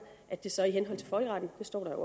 at det så i henhold til folkeretten det står der